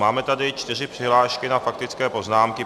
Máme tady čtyři přihlášky k faktickým poznámkám.